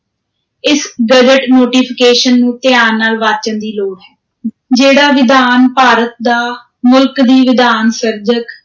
ਇਸ gazette notification ਨੂੰ ਧਿਆਨ ਨਾਲ ਵਾਚਣ ਦੀ ਲੋੜ ਹੈ ਜਿਹੜਾ ਵਿਧਾਨ ਭਾਰਤ ਦਾ, ਮੁਲਕ ਦੀ ਵਿਧਾਨ-ਸਿਰਜਕ